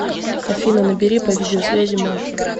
афина набери по видеосвязи машу